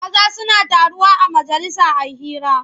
Maza suna taruwa a majalisa a yi hira.